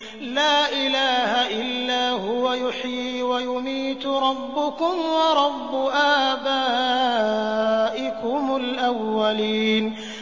لَا إِلَٰهَ إِلَّا هُوَ يُحْيِي وَيُمِيتُ ۖ رَبُّكُمْ وَرَبُّ آبَائِكُمُ الْأَوَّلِينَ